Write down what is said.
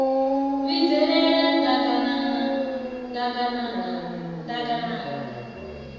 vhidzelela ḓaganana ḓ aganana ḓaganana